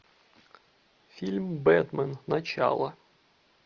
фильм бэтмен начало